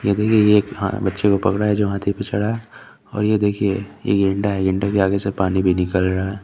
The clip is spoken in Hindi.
ये भी एक हा बच्चे को पकड़ा है जो हठी को देख रहा है और ये देखिये ये गेंडा है गेंडे के आगे से पानी भी निकल रहा है।